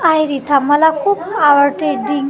आयरिथा मला खूप आवडते ड्रिंक .